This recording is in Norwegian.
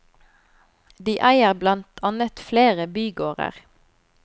De eier blant annet flere bygårder.